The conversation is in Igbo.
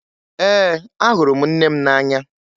Ee, ahụrụ m nne m n'anya